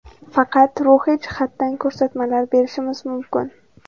Faqat ruhiy jihatdan ko‘rsatmalar berishimiz mumkin.